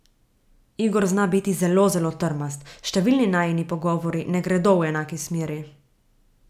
Igor zna biti zelo, zelo trmast, številni najini pogovori ne gredo v enaki smeri.